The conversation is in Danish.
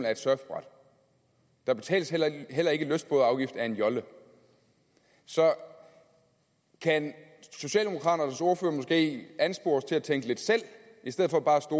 af et surfbræt der betales heller ikke heller ikke lystbådeafgift af en jolle så kan socialdemokraternes ordfører måske anspores til at tænke lidt selv i stedet for bare at